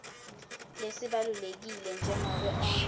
lesibalulekile njengobe onkhe